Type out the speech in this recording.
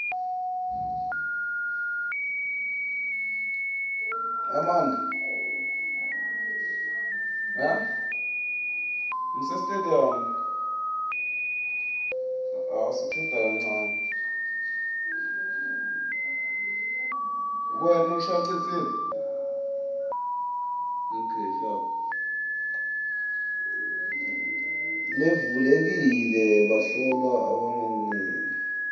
levulekile bahlolwa abanganikwa